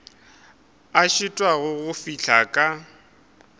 a šitwago go fihla ka